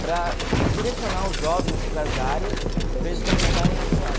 para direcionar os jovens para as áreas, para eles começarem a atuar.